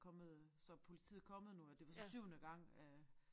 Kommet så politiet kommet nu og det var så syvende gang at